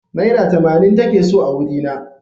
Naira tamanin take so a wurina.